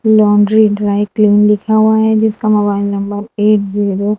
laundry dry clean लिखा हुआ है जिसका मोबाइल नंबर एट जीरो --